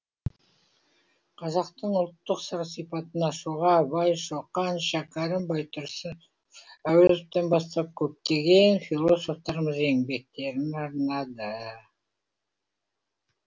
қазақтың ұлттық сыр сипатын ашуға абай шоқан шәкәрім байтұрсынов әуезовтан бастап көптеген философтарымыз еңбектерін арнады